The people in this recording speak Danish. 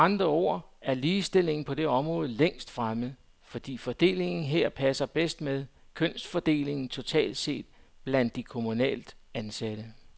Med andre ord er ligestillingen på det område længst fremme, fordi fordelingen her passer bedst med kønsfordelingen totalt set blandt de kommunalt ansatte.